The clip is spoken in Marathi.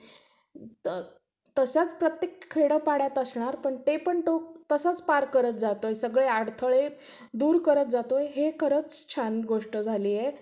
तसेच प्रत्येक खेड्यापाड्यात असणार पण ते पण तो तसाच पार करत जातोय सगळे अडथळे दूर करत जातोय हे खरच छान गोष्ट झाली आहे.